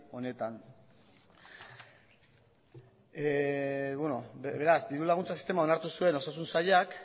honetan beraz diru laguntza sistema onartu zuen osasun sailak